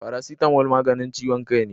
Paracetamol maganin ciwon kai ne